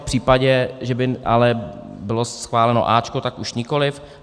V případě, že by ale bylo schváleno A, tak už nikoliv.